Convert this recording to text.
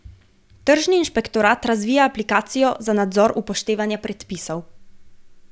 Tržni inšpektorat razvija aplikacijo za nadzor upoštevanja predpisov.